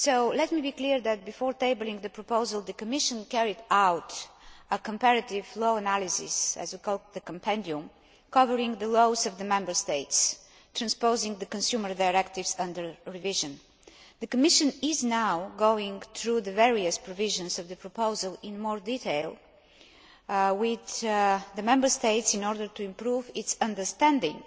Let me make it clear that, before tabling the proposal, the Commission carried out a comparative law analysis, the Compendium', covering the laws of the Member States transposing the consumer directives under revision. The Commission is now going through the various provisions of the proposal in more detail with the Member States in order to improve its understanding